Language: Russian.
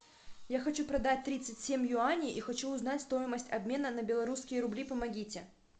я хочу продать тридцать семь юаней и хочу узнать стоимость обмена на белорусские рубли помогите